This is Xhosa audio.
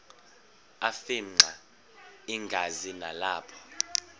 afimxa igazi nalapho